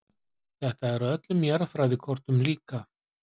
Þetta er á öllum jarðfræðikortum líka.